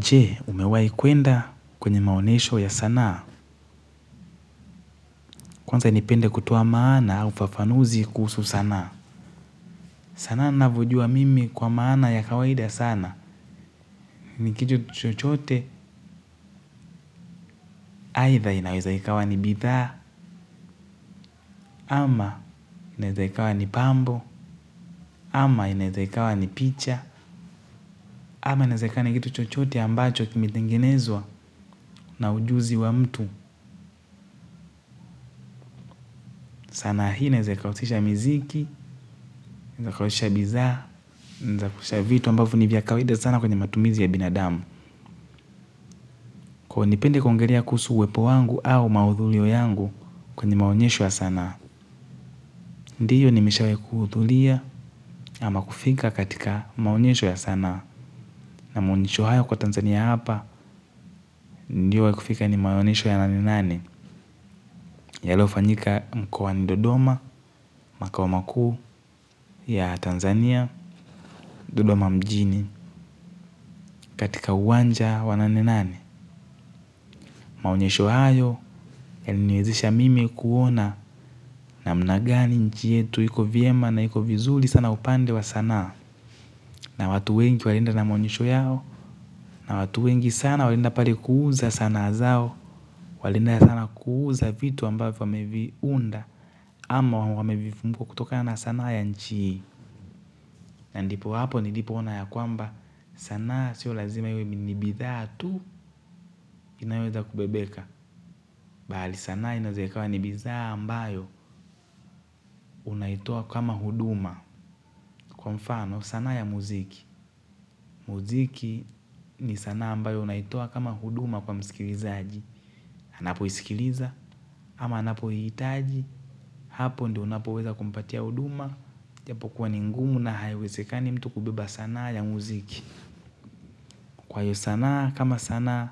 Je, umewahi kuenda kwenye maonyesho ya sanaa? Kwanza nipende kutoa maana au ufafanuzi kuhusu sanaa. Sanaa ninavyojua mimi kwa maana ya kawaida sana. Ni kitu chochote, aidha inaweza ikawa ni bidhaa, ama inaeza ikawa ni pambo, ama inaeza ikawa ni picha, ama inaeza ikawa ni kitu chochote ambacho kimetengenezwa na ujuzi wa mtu. Sanaa hii inaeza ikahusisha miziki, unavyoonyesha bidhaa, za kuonyesha vitu ambavyo ni vya kawaida sana kwenye matumizi ya binadamu. Kwa hiyo nipende kuongelea kuhusu uwepo wangu au mahudhurio yangu kwenye maonyesho ya sanaa. Ndio nimeshawahi kuhudhuria ama kufika katika maonyesho ya sanaa. Na maonyesho hayo kwa Tanzania hapa, ndio wa kufika ni maonyesho ya nani nani. Yaliofanyika mkoani Dodoma, makoa makuu ya Tanzania Dodoma mjini katika uwanja wa nane nane. Maonyesho hayo yananiwezesha mimi kuona namna gani nchi yetu iko vyema na iko vizuri sana upande wa sanaa. Na watu wengi walienda na maonyesho yao na watu wengi sana walienda pale kuuza sanaa zao. Walienda sana kuuza vitu ambavyo wameviunda ama wamevifunga kutoka na sanaa ya nchi. Na ndipo hapo nilipoona ya kwamba sanaa sio lazima iwe ni bidhaa tu inayoweza kubebeka bali sanaa inaweza ikawa ni bidhaa ambayo unaitoa kama huduma. Kwa mfano sanaa ya muziki. Muziki ni sanaa ambayo unaitoa kama huduma kwa msikilizaji anapoisikiliza ama anapoihitaji. Hapo ndio unapoweza kumpatia huduma. Japo kuwa ni ngumu na haiwezekani mtu kubeba sanaa ya muziki. Kwa hiyo sanaa kama sanaa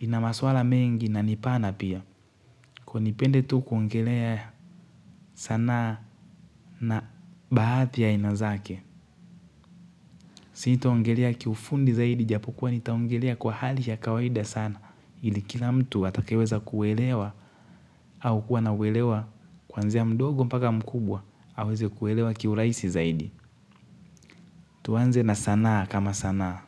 ina maswala mengi na ni pana pia. Kwa hiyo nipende tu kuongelea sanaa na baadhi ya aina zake. Sitaongelea kiufundi zaidi japo kuwa nitaongelea kwa hali ya kawaida sana. Ili kila mtu atakeweza kuelewa au kuwa na uelewa kwanzia mdogo mpaka mkubwa aweze kuelewa kiurahisi zaidi. Tuanze na sanaa kama sanaa.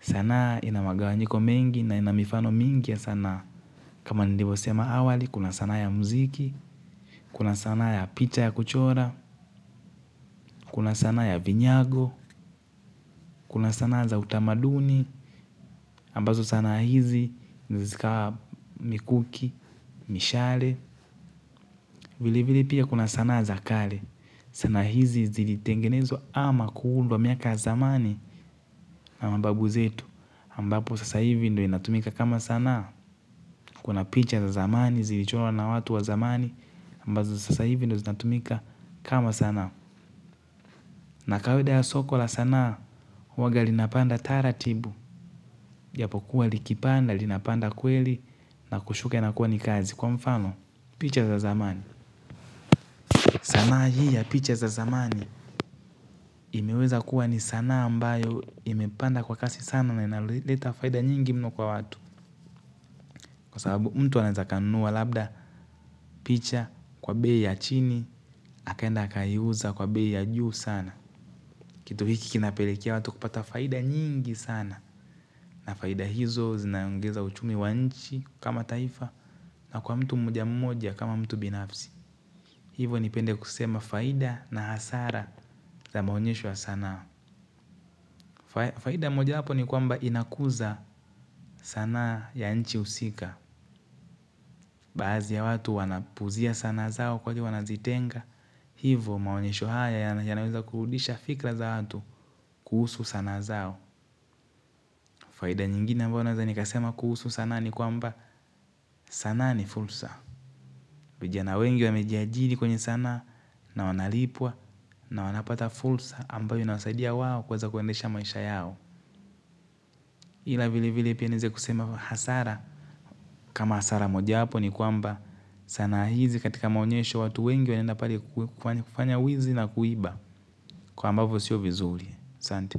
Sanaa ina magawanyiko mengi na ina mifano mingi ya sanaa. Kama nilivyosema awali, kuna sanaa ya muziki, kuna sanaa ya picha ya kuchora, kuna sanaa ya vinyago, kuna sanaa za utamaduni, ambazo sanaa hizi huweza zikawa mikuki, mishale, vile vile pia kuna sanaa za kale. Sanaa hizi zilitengenezwa ama kuundwa miaka ya zamani. Na mababu zetu. Ambapo sasa hivi ndio inatumika kama sanaa. Kuna picha za zamani zilichorwa na watu wa zamani, ambazo sasa hivi ndio zinatumika kama sanaa. Na kawaida ya soko la sanaa huwanga linapanda taratibu. Japo kuwa likipanda, linapanda kweli. Na kushuka inakuwa ni kazi kwa mfano picha za zamani. Sanaa hii ya picha za zamani imeweza kuwa ni sanaa ambayo imepanda kwa kasi sana na inaleta faida nyingi mno kwa watu. Kwa sababu mtu anaeza akanunua labda picha kwa bei ya chini akaenda akaiuza kwa bei ya juu sana. Kitu hiki kinapelekea watu kupata faida nyingi sana. Na faida hizo zinaongeza uchumi wa nchi kama taifa. Na kwa mtu mmoja mmoja kama mtu binafsi. Hivo nipende kusema faida na hasara za maonyesho ya sanaa. Faida mojawapo ni kwamba inakuza sanaa ya nchi husika. Baadhi ya watu wanapuuzia sanaa zao kwa ajili wanazitenga. Hivo maonyesho haya yanaweza kurudisha fikra za watu kuhusu sanaa zao. Faida nyingine ambayo naweza nikasema kuhusu sanaa ni kwamba sanaa ni fursa. Vijana wengi wamejiajini kwenye sanaa na wanalipwa na wanapata fursa ambayo inasaidia wao kuweza kuendesha maisha yao. Ila vile vile pia naeza kusema hasara kama hasara mojawapo ni kwamba sanaa hizi katika maonyesho watu wengi wanenda pale kufanya wizi na kuiba. Kwa ambapo sio vizuri. Asante.